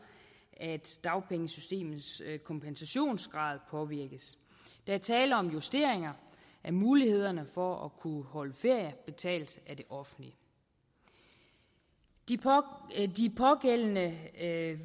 at dagpengesystemets kompensationsgrad påvirkes der er tale om justeringer af mulighederne for at kunne holde ferie betalt af det offentlige de pågældende